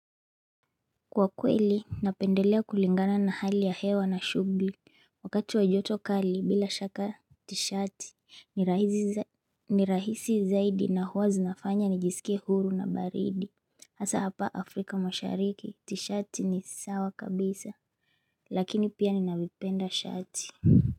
Kwa kweli napendelea kulingana na hali ya hewa na shugli Wakati wa joto kali bila shaka tishati ni rahisi zaidi na huwa zinafanya nijisikie huru na baridi Asa hapa Afrika mashariki tishati ni sawa kabisa lakini pia ninaipenda shati.